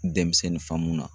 Demisɛnnin faamun na